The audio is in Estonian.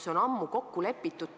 See on ju ammu kokku lepitud,